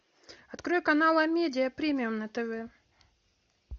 открой канал амедиа премиум на тв